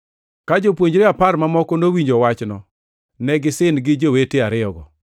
Ka jopuonjre apar mamoko nowinjo wachno, to ne gisin gi jowete ariyogo.